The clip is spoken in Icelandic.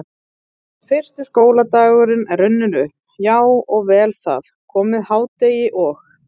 Fyrsti skóladagur er runninn upp, já og vel það, komið hádegi og